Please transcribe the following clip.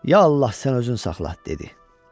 Ya Allah sən özün saxla, dedi.